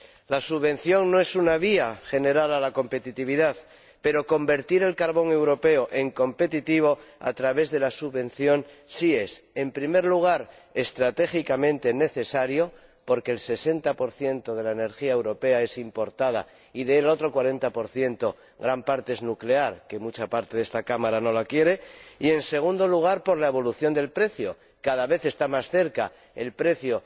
La subvención no es una vía general a la competitividad, pero convertir el carbón europeo en competitivo a través de la subvención sí es, en primer lugar, estratégicamente necesario, porque el 60 de la energía europea es importada y del 40 gran parte es nuclear que mucha parte de esta Cámara no la quiere y, en segundo lugar, por la evolución del precio cada vez está más cerca el precio